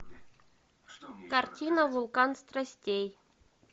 картина вулкан страстей